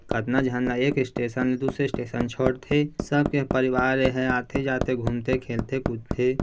कतना झन ला एक स्टेशन ले दूसरे स्टेशन छोड़ थे सबके परिवार ए हा आथे-जाथे घूमथे खेलथे कूदथे--